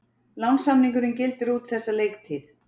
Lánssamningurinn gildir út þessa leiktíð.